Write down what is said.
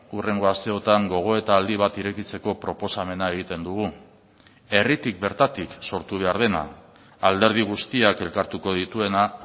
hurrengo asteotan gogoeta aldi bat irekitzeko proposamena egiten dugu herritik bertatik sortu behar dena alderdi guztiak elkartuko dituena